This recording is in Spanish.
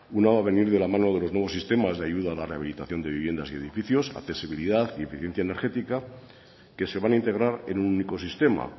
una va a venir de la mano de los nuevos sistemas de ayuda a la rehabilitación de viviendas y edificios accesibilidad y eficiencia energética que se van a integrar en un único sistema